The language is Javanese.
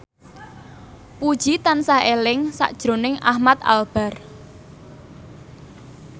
Puji tansah eling sakjroning Ahmad Albar